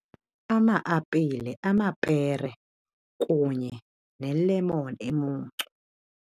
Ama-apile, amapere kunye ne-lemon emuncu.